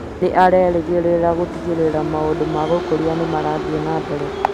Nĩ arerĩgĩrĩra gũtigĩrĩra maũndũ ma gũkũria nĩ marathiĩ na mbere